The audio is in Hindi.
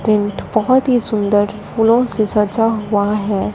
टिंट बहुत ही सुंदर फूलों से सजा हुआ है।